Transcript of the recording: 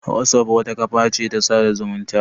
Wazof wata kafa ce ta sada zumunta